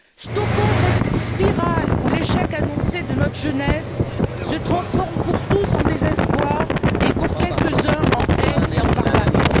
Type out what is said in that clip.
Stoppons cette spirale où l'échec annoncé de notre jeunesse se transforme pour tous en désespoir et pour quelques uns en haine et en barbarie.